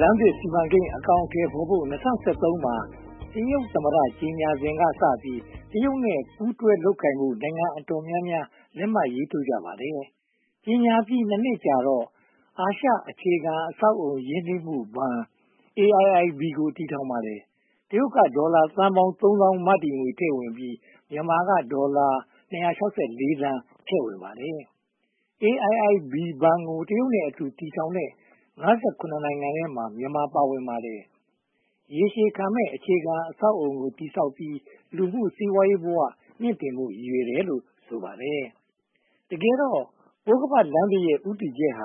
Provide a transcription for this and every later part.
လမ်းသစ် စီမံကိန်း အကောင်အထည်ဖော်ဖို့ ၂၀၁၃ မှာ တရုတ်သမ္မတ ကြေညာစဉ်ကစပြီး တရုတ်နဲ့ ပူးတွဲလုပ်ကိုင်ဖို့ နိုင်ငံအတော်များများ လက်မှတ်ရေးထိုးခဲ့ကြပါတယ်။ ကြေညာပြီး (၂) နှစ်ကြာတော့ အာရှအခြေခံအဆောက်အအုံ ရင်းနှီးမှုဘဏ် (AIIB) ကို တည်ထောင်ပါတယ်။ တရုတ်ကဒေါ်လာသန်းပေါင်း (၂၉၇၈၀) မတည်ငွေထည့်ပြီး၊ မြန်မာကဒေါ်လာ (၂၆၄) သန်း ထည့်ဝင်ပါတယ်။ AIIB ဘဏ်ကို တရုတ်နဲ့အတူ တည်ထောင်တဲ့ (၅၇) နိုင်ငံထဲမှာ မြန်မာပါဝင်ပါတယ်။ ရေရှည်ခံမယ့် အခြေခံအဆောက်အအုံကို တည်ဆောက်ပြီး လူမှုစီးပွားရေးဘဝ မြှင့်တင်ဖို့ ရည်ရွယ်တယ်လို့ ဆိုပါတယ်။ တကယ်တော့ ပိုးခါးပတ်လမ်းသစ်ရဲ့ ဦးတည်ချက်က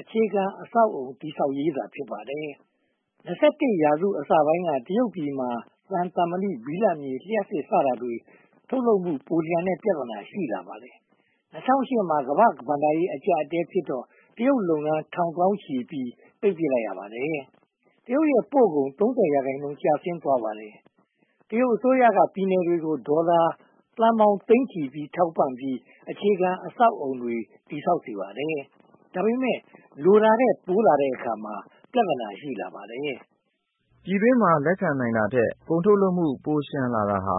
အခြေခံအဆောက်အအုံ တည်ဆောက်ရေးသာ ဖြစ်ပါတယ်။ (၂၁) ရာစု အစပိုင်းက တရုတ်ပြည်မှာ သံ၊ သံမဏိ၊ ဘိလပ်မြေ၊ လျှပ်စစ် စတာတွေ ထုတ်လုပ်မှု ပိုလျှံတဲ့ ပြဿနာ ရှိလာပါတယ်။ ၂၀၀၈ မှာ ကမ္ဘာ့ဘဏ္ဍာရေး အကျပ်အတည်းဖြစ်တော့ တရုတ်လုပ်ငန်း ထောင်သောင်းချီ ပိတ်ပင်လိုက်ရပါတယ်။ တရုတ်ပို့ကုန် (၃၀) ရာခိုင်နှုန်း ကျဆင်းသွားပါတယ်။ တရုတ်အစိုးရက ပြည်နယ်တွေကို ဒေါ်လာသန်းပေါင်းသိန်းချီ ထောက်ပံ့ပြီး အခြေခံအဆောက်အအုံတွေ တည်ဆောက်စေပါတယ်။ ဒါပေမဲ့ လိုတာထက်ပိုလာတဲ့အခါ ပြဿနာ ရှိလာပါတယ်။ ပြည်တွင်းမှာ လက်ခံနိုင်တာထက် ကုန်ထုတ်လုပ်မှု ပိုလျှံတာဟာ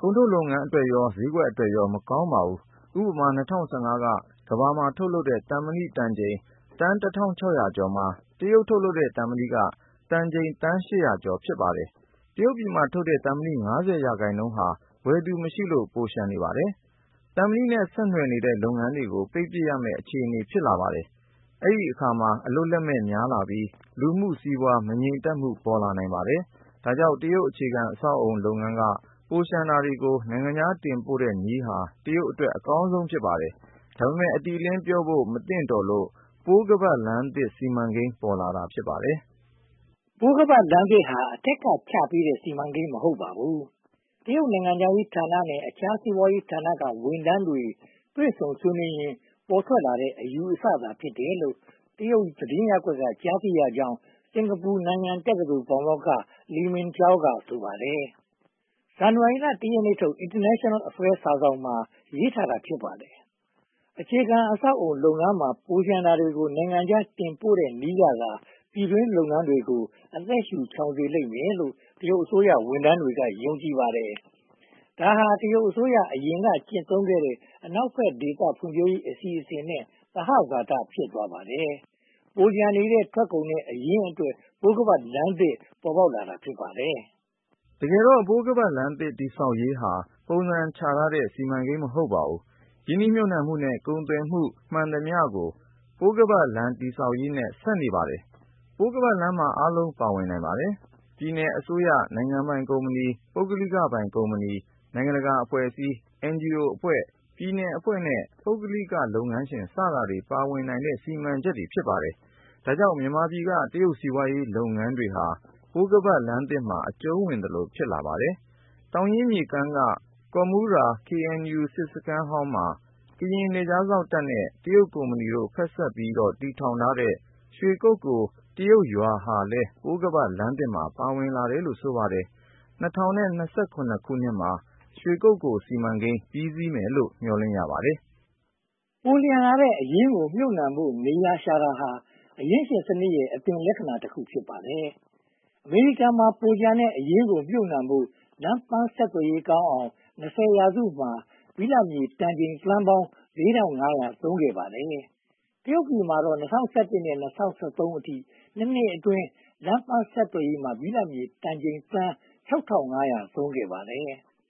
ကုန်ထုတ်လုပ်ငန်းအတွက်ရော၊ ဈေးကွက်အတွက်ရော မကောင်းပါဘူး။ ဥပမာ ၂၀၁၅ က ကမ္ဘာမှာထုတ်လုပ်တဲ့ သံမဏီတန်ချိန် သန်း (၁၆၀၀) ကျော်မှာ တရုတ်ထုတ်လုပ်တဲ့ သံမဏီက တန်သန်းချိန် (၈၀၀) ကျော် ဖြစ်ပါတယ်။ တရုတ်ပြည်မှာထုတ်တဲ့ သံမဏီ (၅၀) ရာခိုင်နှုန်းဟာ ဝယ်သူမရှိလို့ ပိုလျှံနေပါတယ်။ သံမဏီနဲ့ ဆက်နွယ်တဲ့ လုပ်ငန်းတွေကို ပိတ်ပစ်ရမယ့် အခြေအနေ ဖြစ်လာပါတယ်။ အဲဒီအခါမှာ အလုပ်လက်မဲ့ များလာပြီး လူမှုစီးပွားရေး မငြိမ်သက်မှု ပေါ်လာနိုင်ပါတယ်။ ဒါကြောင့် တရုတ်အခြေခံအဆောက်အအုံ လုပ်ငန်းက ပိုလျှံတာတွေကို နိုင်ငံခြားတင်ပို့တဲ့နည်းဟာ တရုတ်အတွက် အကောင်ဆုံး ဖြစ်ပါတယ်။ ဒါပေမဲ့ အတိအလင်းပြောဖို့ မသင့်တော်လို့ ပိုးခါးပတ်လမ်းသစ် စီမံကိန်း ပေါ်လာတာ ဖြစ်ပါတယ်။ ပိုးခါးပတ်လမ်းသစ်ဟာ အထက်ကချပေးတဲ့ စီမံကိန်း မဟုတ်ပါဘူး။ တရုတ်နိုင်ငံခြားရေးဌာနနဲ့ အခြားစီးပွားရေးဌာနက ဝန်ထမ်းတွေ တွေ့ဆုံဆွေးနွေးရင်း ပေါ်ထွက်လာတဲ့ အယူအဆသာ ဖြစ်တယ်လို့ တရုတ်သတင်းရပ်ကွက်က ကြားသိရကြောင်း စင်္ကာပူ-နန်ယန်တက္ကသိုလ် ပါမောက္ခ ‘လီမင်ကြောင်း’ က ဆိုပါတယ်။ ဇန်နဝါရီလ (၁) ရက်နေ့ထုတ် International Affairs စာစောင်မှာ ရေးသားထားတာ ဖြစ်ပါတယ်။ အခြေခံအဆောက်အအုံလုပ်ငန်းမှာ ပိုလျှံနေတာတွေကို နိုင်ငံခြားတင်ပို့တဲ့နည်းကသာ ပြည်တွင်းလုပ်ငန်းတွေကို အသက်ရှုချောင်စေလိမ့်မယ်လို့ တရုတ်အစိုးရဝန်ထမ်းတွေ ယုံကြည်ကြပါတယ်။ ဒါဟာ တရုတ်အစိုးရ အရင်ကကျင့်သုံးခဲ့တဲ့ အနောက်ဘက်ဒေသ ဖွံ့ဖြိုးရေးအစီအစဉ်နဲ့ သဟဇာတ ဖြစ်သွားပါတယ်။ ပိုလျှံနေတဲ့ ထုတ်ကုန်နဲ့ အရင်းအတွက် ပိုးခါးပတ်လမ်းသစ် ပေါ်ပေါက်လာတာ ဖြစ်ပါတယ်။ တကယ်တော့ ပိုးခါးပတ်လမ်းသစ်တည်ဆောက်ရေးဟာ ပုံစံချထားတဲ့ စီမံကိန်း မဟုတ်ပါဘူး။ ရင်းနှီးမြုပ်နံှမှုနဲ့ ကုန်သွယ်မှုမှန်သမျှ ပိုးခါးပတ်လမ်း တည်ဆောက်ရေးနဲ့ ဆက်နေပါတယ်။ ပိုးခါးပတ်လမ်းမှာ အားလုံးပါဝင်နိုင်ပါတယ်။ ပြည်နယ်အစိုးရ၊ နိုင်ငံပိုင်ကုမ္ပဏီ၊ ပုဂ္ဂလိကပိုင်ကုမ္ပဏီတွေ၊ နိုင်ငံတကာအဖွဲ့အစည်းတွေ၊ အင်ဂျီအိုအဖွဲ့တွေ၊ ပြည်နယ်အဖွဲ့တွေနဲ့ ပုဂ္ဂလိကလုပ်ငန်းရှင်တွေ ပါဝင်နိုင်တဲ့ စီမံချက် ဖြစ်ပါတယ်။ ဒါကြောင့် မြန်မာပြည်က တရုတ်စီးပွားရေးလုပ်ငန်းတွေဟာ ပိုးခါးပတ်လမ်းသစ်မှာ အကျုံးဝင်သလို ဖြစ်လာပါတယ်။ သောင်းရင်းမြစ်ကမ်းက ကော်မူရာ KNU စစ်စခန်းဟောင်းမှာ ကရင်နယ်ခြားစောင့်တပ်နဲ့ တရုတ်ကုမ္ပဏီတို့ ဖက်စပ်လုပ်ပြီး တည်ဆောက်တဲ့ ရွှေကုက္ကိုတရုတ်ရွာဟာလည်း ပိုးခါးပတ်လမ်းသစ်မှာ ပါဝင်တယ်လို့ ဆိုပါတယ်။ ၂၀၂၇ မှာ ရွှေကုက္ကို ပြီးစီးမယ်လို့ မျှော်လင့်ရပါတယ်။ ပိုလျှံလာတဲ့ အရင်းအနှီးကိုမြုပ်နံှဖို့ နေရာရှာတာဟာ အရင်းရှင်စနစ်ရဲ့ အသွင်လက္ခဏာတခု ဖြစ်ပါတယ်။ အမေရိကန်မှာ ပိုလျှံတဲ့ အရင်းအနှီးကို မြုပ်နံှဖို့ လမ်းပန်းဆက်သွယ်ရေးကောင်းအောင် (၂၀) ရာစုမှာ ဘိလပ်မြေတန်ချိန် သန်းပေါင်း (၄၅၀၀) သုံးခဲ့ပါတယ်။ တရုတ်ပြည်မှာတော့ (၂၀၁၁) က (၂၀၁၃) အထိ (၂) နှစ်အတွင်း လမ်းပန်းဆက်သွယ်ရေးမှာ ဘိလပ်မြေတန်ချိန် သန်း (၆၅၀၀) သုံးခဲ့ပါတယ်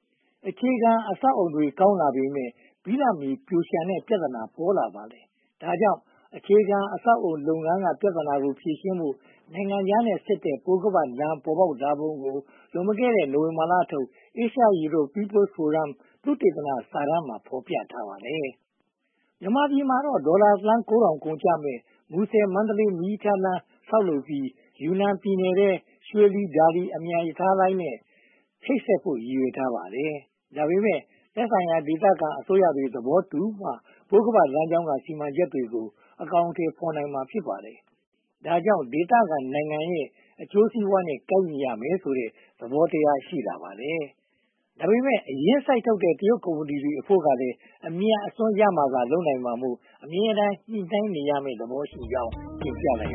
။ အခြေခံအဆောက်အအုံတွေ ကောင်းလာပေမယ့် ဘိလပ်မြေပိုလျှံနေတဲ့ ပြဿနာ ပေါ်လာပါတယ်။ ဒါကြောင့် အခြေခံအဆောက်အအုံလုပ်ငန်းက ပြဿနာကို ဖြေရှင်းဖို့ နိုင်ငံခြားနဲ့ဆက်တဲ့ ပိုးခါးပတ်လမ်း ပေါ်လာပုံကို နိုဝင်ဘာလထုတ် Asia Europe People’s Forum သုတေသနစာတမ်းမှာ ဖော်ပြထားပါတယ်။ မြန်မာပြည်မှာတော့ ဒေါ်လာသန်း (၉၀၀၀) ကုန်ကျမယ့် မူဆယ်-မန္တလေး မီးရထားလမ်း ဆောက်လုပ်ပြီး ယူနန်ပြည်နယ်ထဲက ရွှေလီ-ဒါလီ အမြန်ရထားလမ်းနဲ့ ချိတ်ဆက်ဖို့ ရည်ရွယ်ထားပါတယ်။ ဒါပေမဲ့ သက်ဆိုင်ရာ ဒေသခံအစိုးရတွေ သဘောတူမှ ပိုးခါးပတ်လမ်းကြောင်းက စီမံချက်တွေကို အကောင်အထည်ဖော်နိုင်မှာ ဖြစ်ပါတယ်။ ဒါကြောင့် ဒေသခံနိုင်ငံတွေရဲ့ အကျိုးစီးပွားရေးနဲ့ ကိုက်ညီရမယ်ဆိုတဲ့ သဘောတရား ရှိပါတယ်။ ဒါပေမဲ့ အရင်းစိုက်ထုတ်တဲ့ တရုတ်ကုမ္ပဏီတွေအဖို့ကလည်း အမြတ်အစွန်း ရမှသာ လုပ်နိုင်မှာဖြစ်လို့ အမြဲတမ်း ညှိနှိုင်းနေရမယ့် သဘောရှိကြောင်း တင်ပြလိုက်ရ